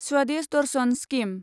Swadesh Darshan scheme